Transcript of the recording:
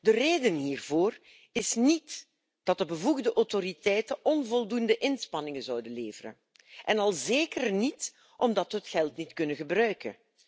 De reden hiervoor is niet dat de bevoegde autoriteiten onvoldoende inspanningen zouden leveren en al zeker niet dat we het geld niet kunnen gebruiken.